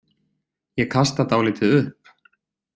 Ég kasta dálítið upp.